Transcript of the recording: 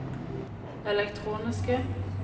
elektroniske